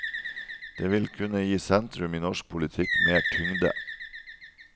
Det vil kunne gi sentrum i norsk politikk mer tyngde.